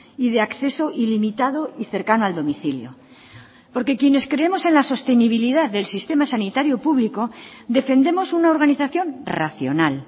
y de acceso ilimitado y cercano al domicilio porque quienes creemos en la sostenibilidad del sistema sanitario público defendemos una organización racional